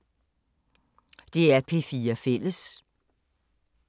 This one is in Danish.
DR P4 Fælles